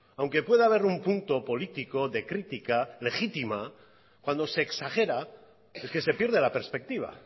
aunque pueda haber un punto político de crítica legítima cuando se exagera es que se pierde la perspectiva